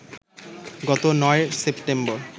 গত ৯ সেপ্টেম্বর